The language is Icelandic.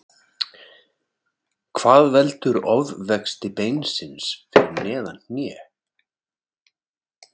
Hvað veldur ofvexti beinsins fyrir neðan hné?